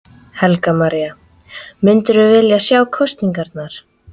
Helga María: Myndirðu vilja sjá kosningar?